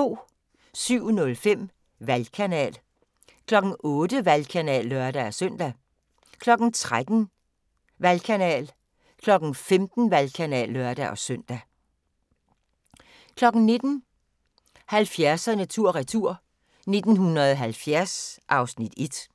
07:05: Valgkanal 08:00: Valgkanal (lør-søn) 13:00: Valgkanal 15:00: Valgkanal (lør-søn) 19:00: 70'erne tur retur: 1970 (Afs. 1)